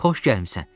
Xoş gəlmisən.